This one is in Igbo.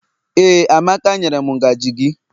Ee, amaka nyere m ngaji gi.